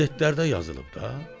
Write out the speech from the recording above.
Qəzetlərdə yazılıb da.